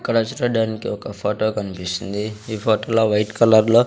ఇక్కడ స్టూడెంట్ కి ఒక ఫొటో కన్పిస్తుంది ఈ ఫోటోలో వైట్ కలర్ లో --